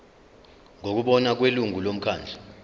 ngokubona kwelungu lomkhandlu